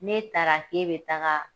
N'e taara k'e bɛ taga